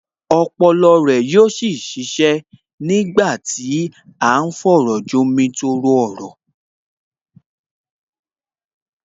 Ọpọlọ rẹ yóò ṣiṣẹ́ nígbà tí à ń fọ̀rọ̀jomi-tooro-ọ̀rọ̀